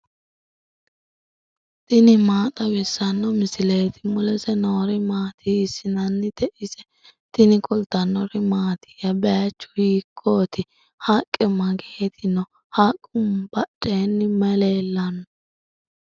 tini maa xawissanno misileeti ? mulese noori maati ? hiissinannite ise ? tini kultannori mattiya? Bayiichchu hiikkotti? haqqe mageetti noo? haqqu badheenni mayi leelanno?